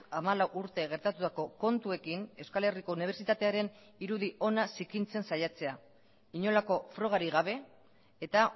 hamalau urte gertatutako kontuekin euskal herriko unibertsitatearen irudi ona zikintzen saiatzea inolako frogarik gabe eta